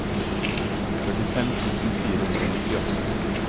førtifem tusen fire hundre og nittiåtte